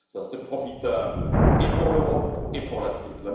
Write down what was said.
Ce serait profitable et pour l'Europe et pour l'Afrique.